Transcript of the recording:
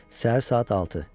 Səhər saat 6.